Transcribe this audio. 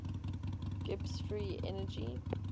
gibbs free energy